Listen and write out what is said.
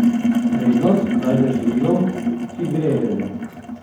Prednost dajte živilom, ki grejejo.